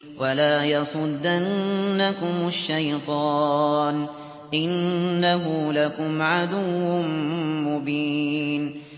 وَلَا يَصُدَّنَّكُمُ الشَّيْطَانُ ۖ إِنَّهُ لَكُمْ عَدُوٌّ مُّبِينٌ